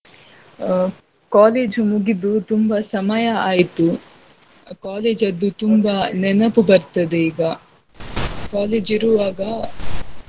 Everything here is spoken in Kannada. ಆಹ್ college ಮುಗಿದು ತುಂಬ ಸಮಯ ಆಯ್ತು. ಆಹ್ college ಅದ್ದು ತುಂಬಾ ನೆನಪು ಬರ್ತದೆ ಈಗ college ಇರುವಾಗ.